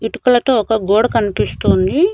ఇటుకలతో ఒక గోడ కనిపిస్తూంది.